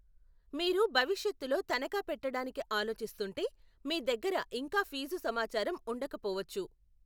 మీరు భవిష్యత్తులో తనఖా పెట్టడానికి ఆలోచిస్తుంటే, మీ దగ్గర ఇంకా ఫీజు సమాచారం ఉండకపోవచ్చు.